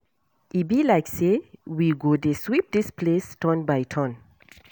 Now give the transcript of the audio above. E be like say we go dey sweep dis place turn by turn